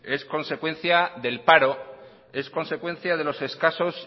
es consecuencia del paro es consecuencia de los escasos